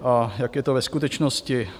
A jak je to ve skutečnosti?